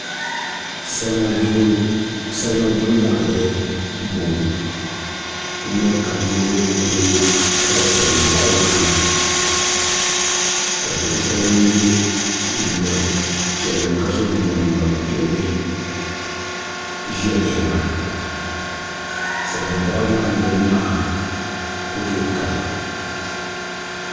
Salima gbibu yaɣali n boŋo n nyɛ ka niraba ku pali salin boɣali maa ni ka do titali ŋun yɛ liiga piɛlli ka so jinjɛm ŋma piɛlli ʒiya lihiriba salin boɣali maa ni niraba maa ku tooi kali